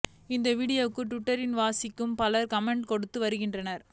இந்த வீடியோவுக்கு ட்விட்டர் வாசிகள் பலரும் கமெண்ட்ஸ் கொடுத்து வருகின்றனர்